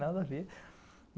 Nada a ver.